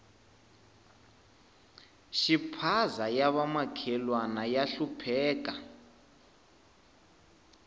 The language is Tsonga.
xiphaza ya va makhelwana ya hlupheka